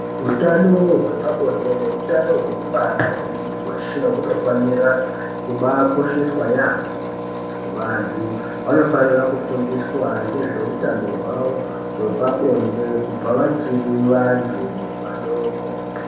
Utano hwepabonde neutano hwekubara hwemuntu weshe hunofanira kubakosheswa yaamho. Vantu vanofanira kufundiswa ngezveutano hwavo hwepabonde kubva vachiri vantu vadoko.